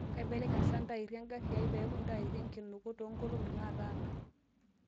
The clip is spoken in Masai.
kaibeleny saa ntairri engari aai peeku ntairi e nkinuku too nkolongi nataana